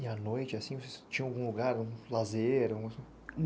E à noite, assim, tinha algum lugar, um lazer, um...?